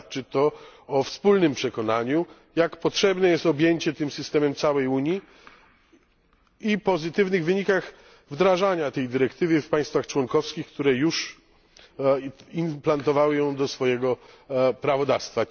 Świadczy to o wspólnym przekonaniu, jak potrzebne jest objęcie tym systemem całej Unii, i o pozytywnych wynikach wdrażania tej dyrektywy w państwach członkowskich, które już transponowały ją do swojego prawodawstwa.